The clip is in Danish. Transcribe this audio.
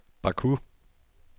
Baku